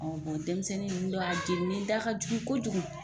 Ɔn denmisɛnnin nunnu dɔw a jeninen da ka jugu kojugu.